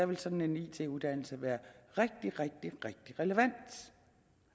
vil sådan en it uddannelse være rigtig rigtig relevant